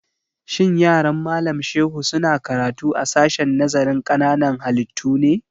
Shin yaran Malam Shehu su na karatu a sashen nazarin ƙananan halittu ne?